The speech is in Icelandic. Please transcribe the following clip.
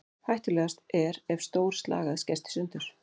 Hættulegast er ef stór slagæð skerst í sundur.